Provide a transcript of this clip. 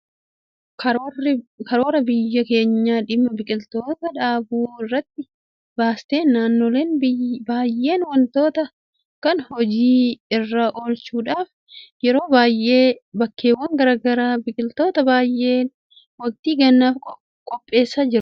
Karoora biyyi keenya dhimma biqiltuu dhaabuu irratti baasteen naannoleen baay'een waanta kana hojii irra oolchuudhaaf yeroo baay'ee bakkeewwan garaa garaatti biqiltoota baay'isanii waktii gannaatiif qopheessaa jiru. Hojiin akkasii immoo milkaa'ina karoorichaatiif baay'ee murteessaadha.